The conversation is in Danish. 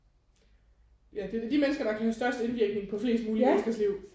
Ja det er da de mennesker der kan have størst indvirkning på flest mulige menneskers liv